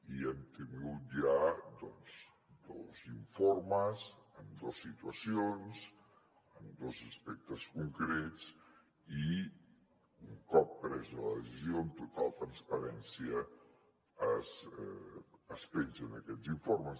i hem tingut ja dos informes en dos situacions en dos aspectes concrets i un cop presa la decisió amb total transparència es pengen aquests informes